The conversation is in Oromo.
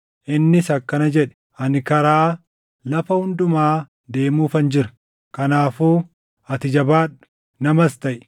Innis akkana jedhe; “Ani karaa lafa hundumaa deemuufan jira. Kanaafuu ati jabaadhu; namas taʼi;